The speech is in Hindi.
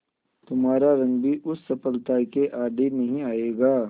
तुम्हारा रंग भी उस सफलता के आड़े नहीं आएगा